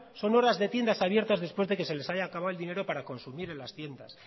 son horas de tiendas abiertas después de que se les haya acabado el dinero para consumir en las tiendas